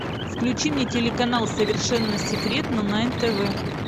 включи мне телеканал совершенно секретно на нтв